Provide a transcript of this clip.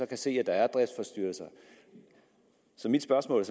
kan se at der er driftsforstyrrelser så mit spørgsmål